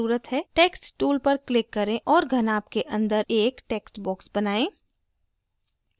text tool पर click करें और घनाभ के अंदर एक text box बनाएं